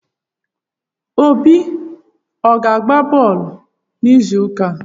Obi ọ ga-agba bọọlụ n'izuụka a?